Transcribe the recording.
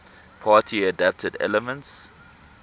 party adapted elements